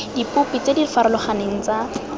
dipopi tse di farologaneng tsa